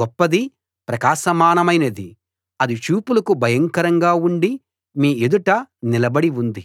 గొప్పది ప్రకాశమానమైనది అది చూపులకు భయంకరంగా ఉండి మీ ఎదుట నిలబడి ఉంది